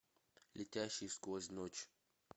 летящий сквозь ночь